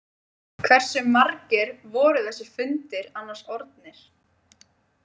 Hversu margir voru þessir fundir annars orðnir?